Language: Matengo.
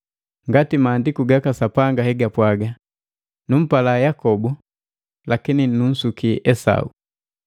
Ngati Maandiku gaka Sapanga hegapwaga, “Numpala Yakobu lakini nunsukia Esau.”